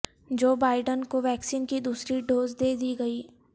جو بائیڈن کو ویکسین کی دوسری ڈوز دے دی گئی